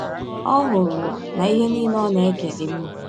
Ọ hụrụ na ihe nile ọ na - eke dị mma.